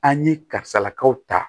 An ye karisalakaw ta